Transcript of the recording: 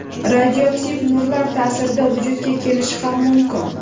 radioaktiv nurlar ta’sirida vujudga kelishi ham mumkin.